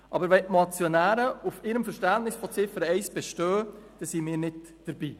Aber wenn die Motionäre auf ihrem Verständnis von Ziffer 1 bestehen, sind wir nicht dabei.